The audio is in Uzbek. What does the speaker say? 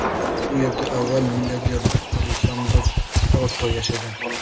U yerda avval milliarder Alessandro Proto yashagan.